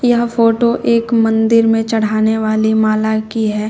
यह फोटो एक मंदिर में चढ़ाने वाली माला की है।